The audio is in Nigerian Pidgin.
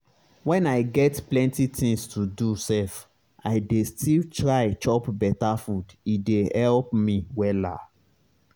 when i get plenty things to do sef i dey still try chop beta food e dey help me wella.